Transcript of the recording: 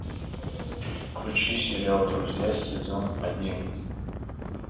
включи сериал друзья сезон один